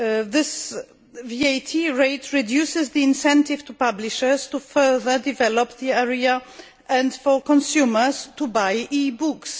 This VAT rate reduces the incentive to publishers to further develop the area and for consumers to buy e books.